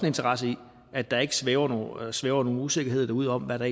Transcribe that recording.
interesse i at der ikke svæver svæver nogen usikkerhed derude om hvad der